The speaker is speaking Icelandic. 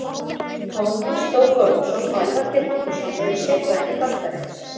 Tómas Þór Þórðarson og Elvar Geir Magnússon eru sérfræðingar þáttarins.